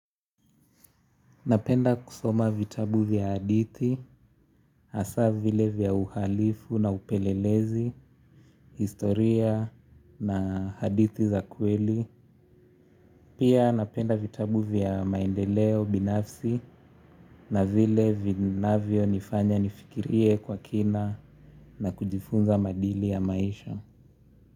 Napenda kusoma vitabu vya hadithi, asa vile vya uhalifu na upelelezi, historia na hadithi za kweli. Pia napenda vitabu vya maendeleo binafsi na vile vinavyonifanya nifikirie kwa kina na kujifunza maadili ya maisha.